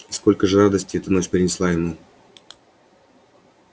и сколько же радости эта ночь принесла ему